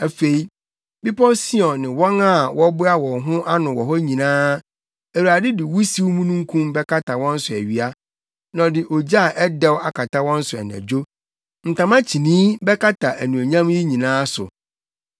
Afei, Bepɔw Sion ne wɔn a wɔboa wɔn ano wɔ hɔ nyinaa, Awurade de wusiw mununkum bɛkata wɔn so awia, na ɔde ogya a ɛdɛw akata wɔn so anadwo; ntama kyinii bɛkata anuonyam yi nyinaa so.